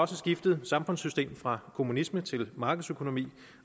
skiftet samfundssystem fra kommunisme til markedsøkonomi